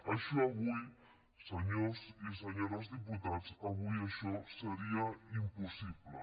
això avui senyors i senyores diputats avui això seria impossible